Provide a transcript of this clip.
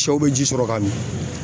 Sɛw be ji sɔrɔ ka mi.